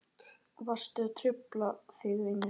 Varstu að hrufla þig vinur?